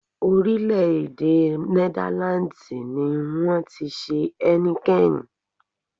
Orílẹ̀-èdè Netherlands ni wọn ti ṣe Heineken.